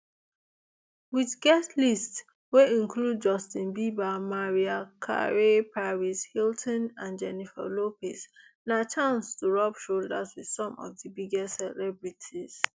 wit guest lists wey include justin bieber mariah carey paris hilton and jennifer lopez na chance to rub shoulders wit some of di biggest celebrities